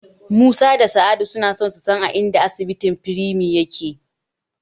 Musa da Sa'idu suna so su san a inda asibitin Premier yake.